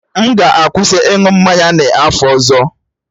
M ga-akwụsị ịṅụ mmanya n'afọ ọzọ.